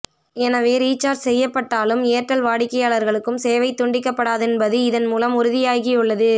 எனவே ரீசார்ஜ் செய்யப்பட்டாலும் ஏர்டெல் வாடிக்கையாளர்களுக்கும் சேவை துண்டிக்கப்படாது ன்பது இதன் மூலம் உறுதியாகியுள்ளது